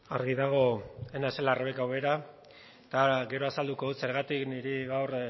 argi dago ez naizela rebeka ubera eta gero azalduko dut zergatik niri gaur